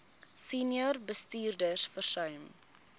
senior bestuurders versuim